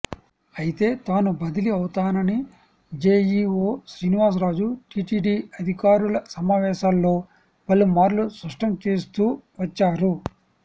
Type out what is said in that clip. అయితే తాను బదిలీ అవుతానని జేఈఓ శ్రీనివాసరాజు టీటీడీ అధికారుల సమావేశాల్లో పలు మార్లు స్పష్టం చేస్తూ వచ్చారు